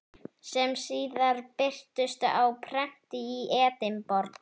sem síðar birtust á prenti í Edinborg.